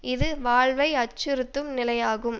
இது வாழ்வை அச்சுறுத்தும் நிலையாகும்